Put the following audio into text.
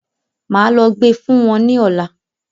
Máa lọ gbe fún wọn ní òla.